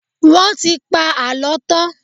Wọ́n ti pa àlọ́ tán.